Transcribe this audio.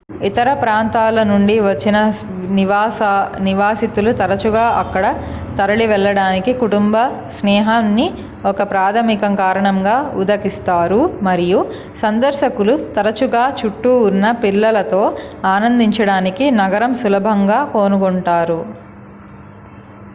ఇతర ప్రాంతాల నుండి వచ్చిన నివాసితులు తరచుగా అక్కడ తరలివెళ్లడానికి కుటుంబ-స్నేహాన్ని ఒక ప్రాథమిక కారణంగా ఉదకిస్తారు మరియు సందర్శకులు తరచుగా చుట్టూ ఉన్న పిల్లలతో ఆనందించడానికి నగరం సులభంగా కనుగొంటారు